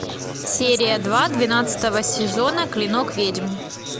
серия два двенадцатого сезона клинок ведьм